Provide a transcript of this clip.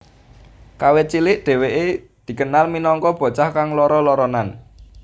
Kawit cilik dheweke dikenal minangka bocah kang lara laranan